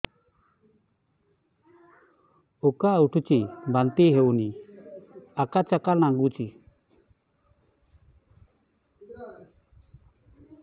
ଉକା ଉଠୁଚି ବାନ୍ତି ହଉନି ଆକାଚାକା ନାଗୁଚି